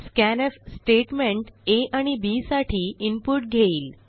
scanf statement A आणि B साठी input घेईल